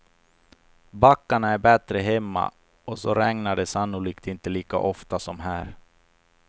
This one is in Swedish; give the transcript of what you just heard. Backarna är bättre hemma och så regnar det sannolikt inte lika ofta som här.